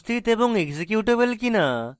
এবং executable কিনা logical operator